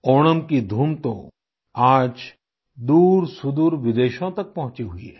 ओणम की धूम तो आज दूरसुदूर विदेशों तक पहुँची हुई है